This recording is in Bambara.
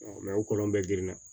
o kɔlɔn bɛɛ girinna